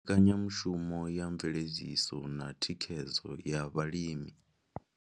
Mbekanyamushumo ya mveledziso na thikhedzo ya vhalimi.